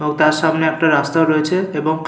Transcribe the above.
ও তার সামনে একটা রাস্তাও রয়েছে এবং --